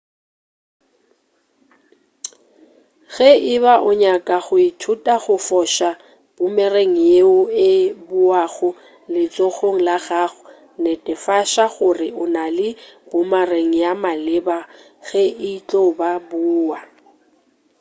ge e ba o nyaka go ithuta go foša boomerang yeo e boago letsogong la gago netefatša gore o na le boomerang ya maleba ge e tlo boa